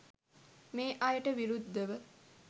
මේ අයට විරුද්ධව